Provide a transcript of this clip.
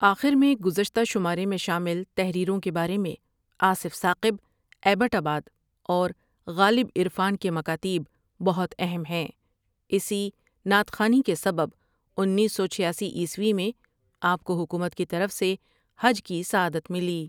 آخر میں گزشتہ شمارے میں شامل تحریروں کے بارے میں آصف ثاقب ایبٹ آباد اور غالب عرفان کے مکاتیب بہت اہم ہیں اسی نعت خوانی کے سبب انیس سو چھیاسی عیسوی میں آپ کو حکومت کی طرف سے حج کی سعادت ملی ۔